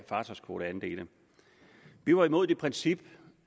fartøjskvoteandele vi var imod det princip